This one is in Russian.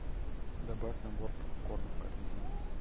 добавь набор попкорна в корзину